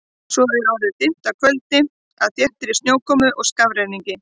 Svo er orðið dimmt af kvöldi, af þéttri snjókomu og skafrenningi.